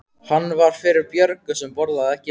Hann var fyrir Björgu sem borðaði ekki lauk.